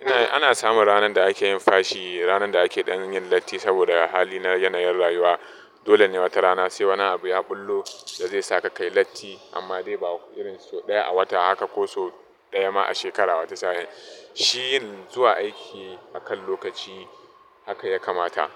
Ina ana samun ranar da ake yin fashi, ranar da ake yin latti saboda hali na yana yin rayuwa. Dole ne wata rana sai wani abu ya ɓullo da zai sa ka kai latti, amma dai ba irin so ɗaya a wata haka ko so ɗaya ma a shekara wata sa'in. Shi yin zuwa aiki akan lokaci haka ya kamata.